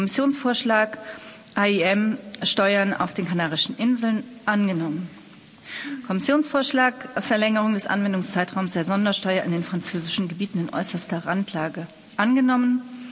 Kommissionsvorschlag AIEM Steuern auf den Kanarischen Inseln angenommen Kommissionsvorschlag Verlängerung des Anwendungszeitraums der Sondersteuer octroi de mer in den französischen Gebieten in äußerster Randlage angenommenen